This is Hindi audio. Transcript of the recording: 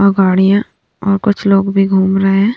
और गाड़ियाँ और कुछ लोग भी घूम रहे हैं।